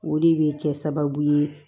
O de bɛ kɛ sababu ye